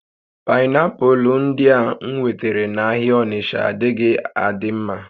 Painiapulu ndia m nwetara n'ahịa Onitsha adighi adi nma